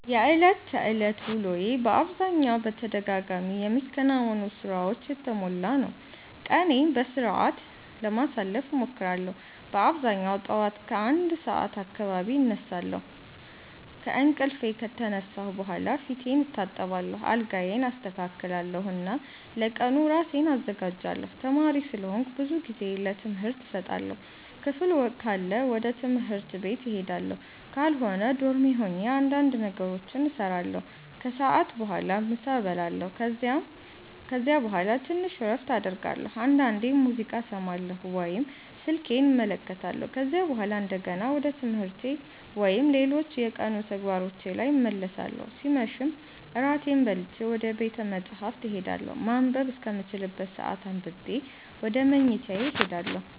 የዕለት ተዕለት ውሎዬ በአብዛኛው በተደጋጋሚ የሚከናወኑ ሥራዎች የተሞላ ነው። ቀኔን በሥርዓት ለማሳለፍ እሞክራለሁ በአብዛኛው ጠዋት ከ1 ሰዓት አካባቢ እነሳለሁ። ከእንቅልፌ ከተነሳሁ በኋላ ፊቴን እታጠባለሁ፣ አልጋዬን አስተካክላለሁ እና ለቀኑ ራሴን አዘጋጃለሁ። ተማሪ ስለሆንኩ ብዙ ጊዜዬን ለትምህርት እሰጣለሁ። ክፍል ካለ ወደ ትምህርት ቤት እሄዳለሁ፣ ካልሆነ ዶርሜ ሆኜ እንዳንድ ነገሮችን እሰራለሁ። ከሰዓት በኋላ ምሳ እበላለሁ ከዚያ በኋላ ትንሽ እረፍት አደርጋለሁ፣ አንዳንዴም ሙዚቃ እሰማለሁ ወይም ስልኬን እመለከታለሁ። ከዚያ በኋላ እንደገና ወደ ትምህርቴ ወይም ሌሎች የቀኑ ተግባሮቼ ላይ እመለሳለሁ ሲመሽም እራቴን በልቼ ወደ ቤተ መፃህፍት እሄዳለሁ ማንበብ እስከምችልበት ሰአት አንብቤ ወደ መኝታዬ እሄዳለሁ።